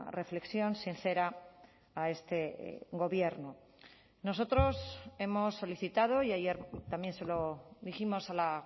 reflexión sincera a este gobierno nosotros hemos solicitado y ayer también se lo dijimos a la